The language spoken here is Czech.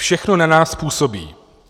Všechno na nás působí.